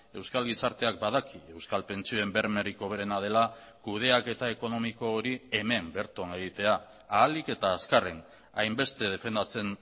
euskal gizarteak badaki euskal pentsioen bermerik hoberena dela kudeaketa ekonomiko hori hemen berton egitea ahalik eta azkarren hainbeste defendatzen